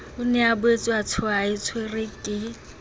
o ne a boetseatshwerwe ke